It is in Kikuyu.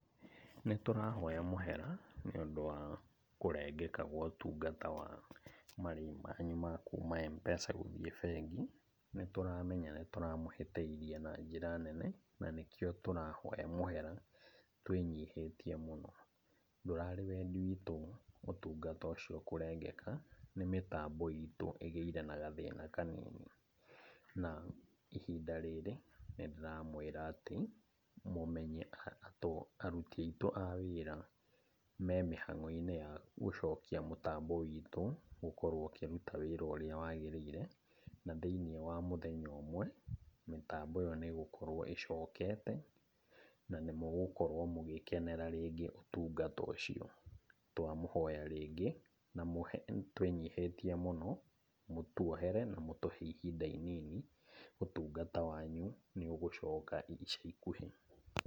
Nĩtũrahoya mũhera nĩũndũ wa kũrengeka kwa ũtungata wa marĩhi manyu ma kuuma Mpesa gũthiĩ bengi nĩtũramenta nĩtũramũhĩtĩirie na njĩra nene na nĩkio tũrahoa mũhera twĩnyihĩtie mũno, ndũrarĩ wendi witũ ũtungata ũcio kũrengeka na mĩtambo itu ĩgĩire na gathĩna kanini na ihinda rĩrĩ nĩndiramwĩra atĩ mũmenye aruti witũ a wĩra memĩhangoinĩ wa gũcokia mtambo witũ gũkorwo ũkĩruta wĩra ũria wagĩrĩire na thĩinĩ wa mũthenya ũmwe, mĩtambo ĩyo nĩgũkorwo ĩcokete na nĩmũgũkorwo mũgĩkenerera rĩngĩ ũtungata ũcio, twamũhoya rĩngĩ twĩnyihĩtie mũno mũtwohere na mũtũhe ihinda inini ũtungata wanyu nĩũgũcoka ica ikuhĩ.'